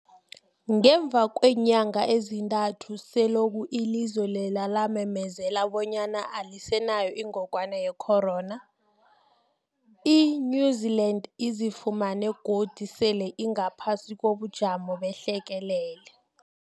Ngemva kweenyanga ezintathu selokhu ilizwe lela lamemezela bonyana alisenayo ingogwana ye-corona, i-New-Zealand izifumana godu sele ingaphasi kobujamo behlekelele.